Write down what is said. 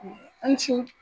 a' ni su.